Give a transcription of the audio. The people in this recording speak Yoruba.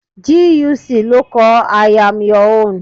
GUC ló kọ 'I am your own' '